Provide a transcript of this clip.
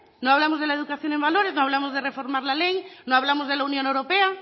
no hablamos de la educación en valores no hablamos de reformar la ley no hablamos de la unión europea